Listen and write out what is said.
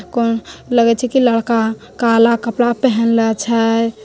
कौन लगे छय की लड़का काला कपड़ा पहनले छय।